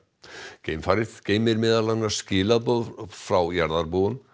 geimfarið geymir meðal annars skilaboð frá jarðarbúum